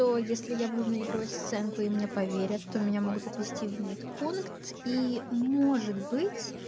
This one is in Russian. то если я буду наигрывать сценку и мне поверят то меня могут отвезти в медпункт и может быть